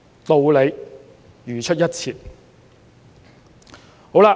道理如出一轍。